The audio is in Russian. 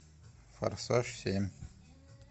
форсаж семь